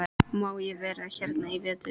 Má ég vera hérna í vetur?